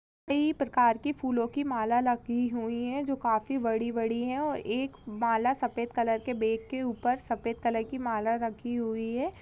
कई प्रकार की फूलों की माला लगी हुई है जो काफी बड़ी-बड़ी है एक माला सफ़ेद कलर के बेग सफ़ेद कलर की माला रखी हुई है।